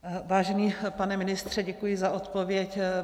Vážený pane ministře, děkuji za odpověď.